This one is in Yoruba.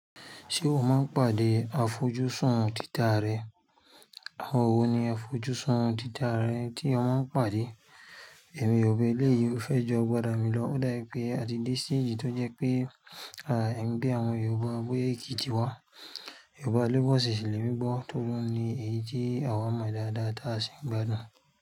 Ṣé o máa ń pàdé àfojúsùn títà rẹ? Àwọn wo ni àfojúsùn títà rarẹ tí o máa ń pàdé? Awon yoruba eleyii o fẹ́ ju agbara mi lọ ó da bi pé a ti dé stage tó jẹ́ pé à, angbe boya àwọn Yorùbá boya Èkìtì wá. Yorùbá lagos, ṣì ṣẹ́ lẹ́mí gbọ̀, tori ni èyí tí àwa mọ̀ dáadáa táa sì ń gbádùn.